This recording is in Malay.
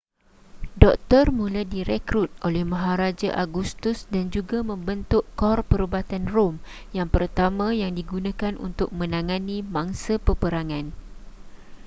doktor mula direkrut oleh maharaja augustus dan juga membentuk kor perubatan rom yang pertama yang digunakan untuk menangani mangsa peperangan